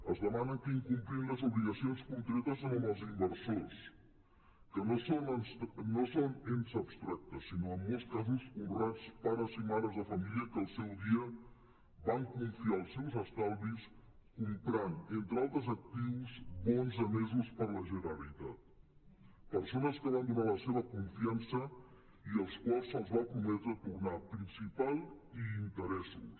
es demana que incomplim les obligacions concretes amb els inversors que no són ens abstractes sinó en molts casos honrats pares i mares de família que al seu dia van confiar els seus estalvis comprant entre altres actius bons emesos per la generalitat persones que van donar la seva confiança i als quals se’ls va prometre tornar principal i interessos